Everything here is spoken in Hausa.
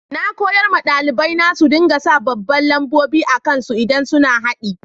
Na koyar ma dalibai na su dinga sa babban lambobi akan su idan suna haddi.